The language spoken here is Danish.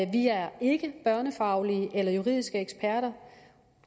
vi er ikke børnefaglige eller juridiske eksperter